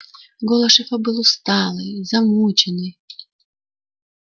голос шефа был усталый замученный